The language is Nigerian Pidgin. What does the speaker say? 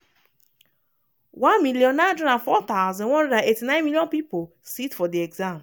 1904189 million candidates sit for di exam.